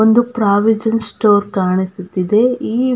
ಒಂದು provision store ಕಾಣಿಸುತ್ತಿದೆ ಈ --